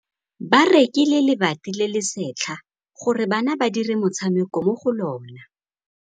Ba rekile lebati le le setlha gore bana ba dire motshameko mo go lona.